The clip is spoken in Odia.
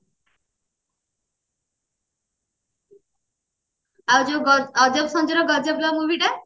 ଆଉ ଯୋଉ ଅଜବ ସଞ୍ଜୁର ଗଜବ ଲଭ movie ଟା